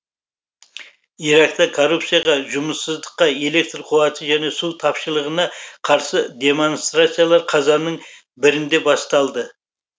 иракта коррупцияға жұмыссыздыққа электр қуаты және су тапшылығына қарсы демонстрациялар қазанның бірінде басталды